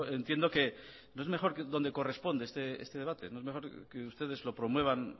entiendo que no es mejor donde corresponde este debate no es mejor que ustedes lo promuevan